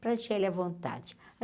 Para deixar ele a vontade.